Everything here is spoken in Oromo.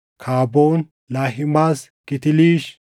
Kaboon, Lahimaas, Kiitiliish,